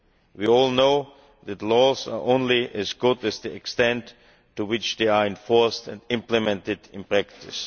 We all know that laws are only as good as the extent to which they are enforced and implemented in practice.